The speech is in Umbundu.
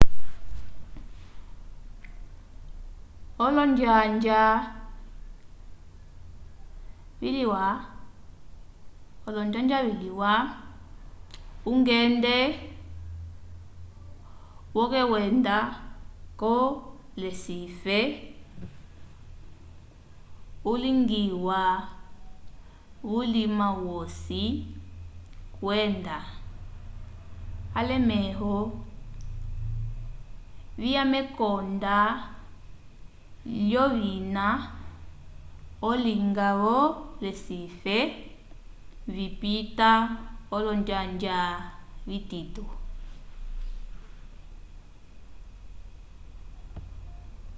olonjanja vyalwa ungende wokwenda ko recife ulingiwa vulima wosi kwenda alemẽho viya mekonda lyovina olinga vo recife vipita olonjanja vitito